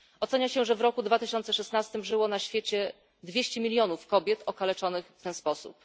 Ocenia się, że w roku 2016 żyło na świecie dwieście milionów kobiet okaleczonych w ten sposób.